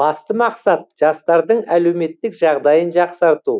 басты мақсат жастардың әлеуметтік жағдайын жақсарту